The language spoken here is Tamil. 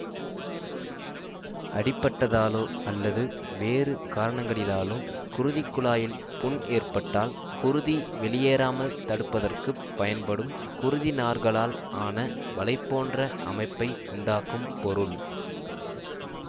அடிபட்டதாலோ அல்லது வேறு காரணங்களிலாலோ குருதிக்குழாயில் புண் ஏற்பட்டால் குருதி வெளியேறாமல் தடுப்பதற்குப் பயன்படும் குருதிநார்களால் ஆன வலை போன்ற அமைப்பை உண்டாக்கும் பொருள்